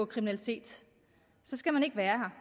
kriminalitet skal man ikke være